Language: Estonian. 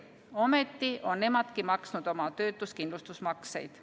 Ometi on nemadki maksnud oma töötuskindlustusmakseid.